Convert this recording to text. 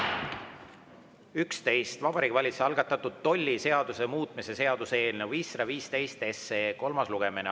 on Vabariigi Valitsuse algatatud tolliseaduse muutmise seaduse eelnõu 515 kolmas lugemine.